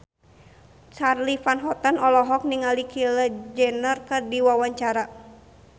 Charly Van Houten olohok ningali Kylie Jenner keur diwawancara